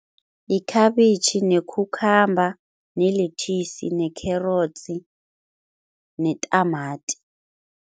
Yikhabitjhi ne-cucumber ne-lettuce nekherotsi netamati.